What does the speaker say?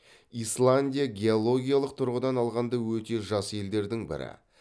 исландия геологиялық тұрғыдан алғанда өте жас елдердің бірі